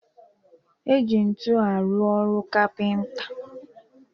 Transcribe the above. Eji ntu arụ ọru kapịnta